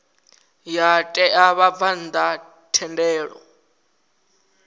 ya ṋea vhabvann ḓa thendelo